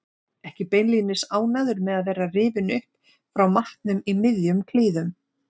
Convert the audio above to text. Ekki beinlínis ánægður með að vera rifinn upp frá matnum í miðjum klíðum.